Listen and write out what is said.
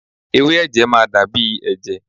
Ewé ẹ̀jẹ̀ máa dàbí ẹ̀jẹ̀